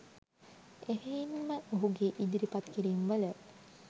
එහෙයින් ම ඔහුගේ ඉදිරිපත් කිරීම්වල